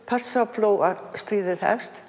Persaflóastríðið hefst